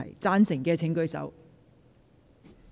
贊成的請舉手。